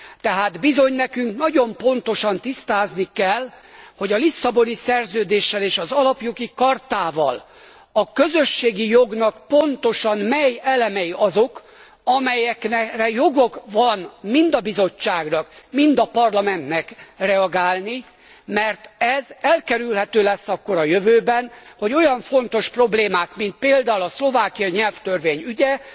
Tehát bizony nekünk nagyon pontosan tisztázni kell, hogy a Lisszaboni Szerződéssel és az Alapjogi Chartával a közösségi jognak pontosan mely elemei azok, amelyekre joga van mind a Bizottságnak mind a Parlamentnek reagálni, mert ez elkerülhető lesz akkor a jövőben, hogy olyan fontos problémák mint például a szlovákiai nyelvtörvény ügye